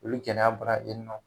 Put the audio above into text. Olu gɛlɛya bɔra yen nɔ.